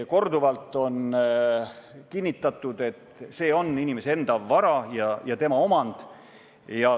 " Korduvalt on kinnitatud, et see on inimese enda vara ja tema omand.